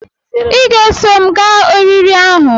Ị ga-eso m gaa oriri ahu